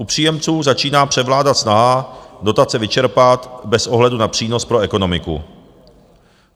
U příjemců začíná převládat snaha dotace vyčerpat bez ohledu na přínos pro ekonomiku.